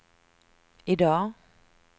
idag